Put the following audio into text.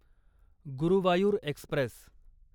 Guruvayur Express